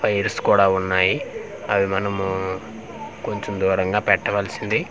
Fires కూడా ఉన్నాయి అవి మనము కొంచెం దూరంగా పెట్టవలసింది.